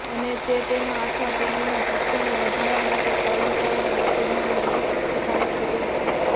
અને તે તેના અથવા તેણીના જુસ્સોને વધારવા માટે કર્મચારીમાં ઉત્તેજનાનું વધુ શક્તિશાળી સ્વરૂપ છે